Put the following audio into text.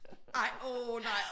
Ej åh nej